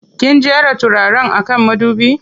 Kin jera turaren a kan madubi?